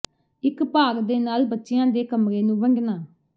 ਇੱਕ ਭਾਗ ਦੇ ਨਾਲ ਬੱਚਿਆਂ ਦੇ ਕਮਰੇ ਨੂੰ ਵੰਡਣਾ